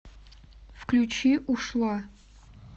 включи ушла